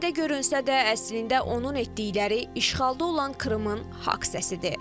Sadə görünsə də, əslində onun etdikləri işğalda olan Krımın haqq səsidir.